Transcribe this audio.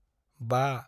5